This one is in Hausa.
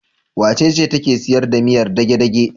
Wacece take sayar da miyar dage-dage?